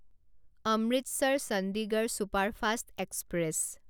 Amritsar Chandigarh superfast express